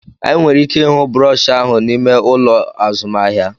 Anyị nwere ike ịhụ broshuọ ahụ n'ime ụlọ azụmahịa